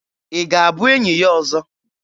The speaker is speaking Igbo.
Ị ga-abụ enyi ya ọzọ?